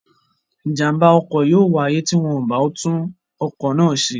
Ìjàm̀bá ọkọ̀ yóò wáyé tí wọn ò bá tún ọkọ̀ náà ṣe.